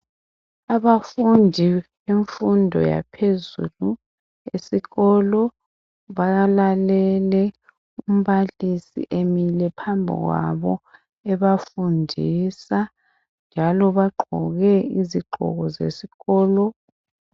Abafundi bemfundo yaphezulu esikolo bayalalele umbalisi emile phambili kwabo ebafundisa njalo bagqoke izigqoko zesikolo.